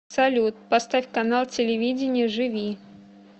салют поставь канал телевидения живи